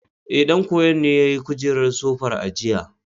Ee, ɗan koyon ne yayi kujerar sofar a jiya.